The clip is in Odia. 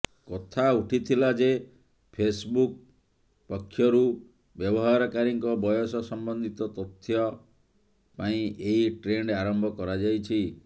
କଥା ଉଠିଥିଲା ଯେ ଫେସ୍ବୁକ୍ ପକ୍ଷରୁ ବ୍ୟବହାରକାରୀଙ୍କ ବୟସ ସମ୍ବନ୍ଧିତ ତଥ୍ୟା ପାଇଁ ଏହି ଟ୍ରେଣ୍ଡ୍ ଆରମ୍ଭ କରାଯାଇଛି